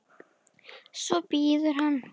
Svo bíður hann.